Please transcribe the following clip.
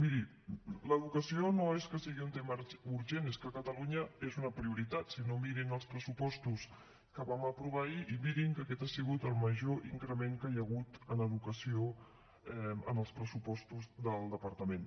miri l’educació no és que sigui un tema urgent és que a catalunya és una prioritat si no mirin els pressupostos que vam aprovar ahir i mirin que aquest ha sigut el major increment que hi ha hagut en educació en els pressupostos del departament